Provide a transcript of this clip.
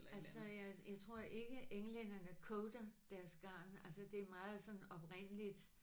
Altså jeg jeg tror ikke englænderne coater deres garn altså det er meget sådan oprindeligt